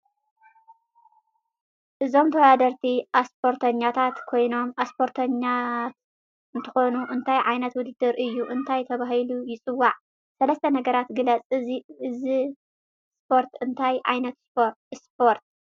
አዞኦም ተዋዳደርቲ አስፖርተኛታት ኮይኖ አሰፖርኛት እንትኮኑ እንታይ ዓይነት ውድድር እዪ እንታይ ተባህሉ ይፂዋዕ? ሰለሰተ ነገራት ግለፀ ኢዚእ ሰፖር እንታይ ዓይነት እስፖርት ?